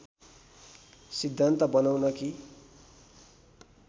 सिद्धान्त बनाउन् कि